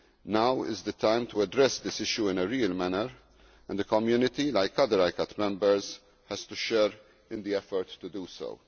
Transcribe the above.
Now is the time to address this issue in a real manner and the Community, like other ICCAT members, has to share in the effort to do so.